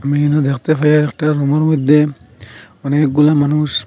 আমি এখানে দেখতে পাই আর একটা রুমের মধ্যে অনেকগুলা মানুষ।